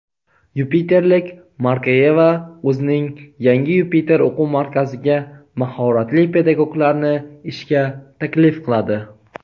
Yupiterlik Markayeva o‘zining yangi "Yupiter" o‘quv markaziga mahoratli pedagoglarni ishga taklif qiladi!.